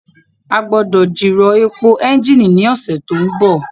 A gbọ́dọ̀ jìrọ̀ èpò ẹ́ńjìnì ní ọ̀sẹ̀ tó ń bọ̀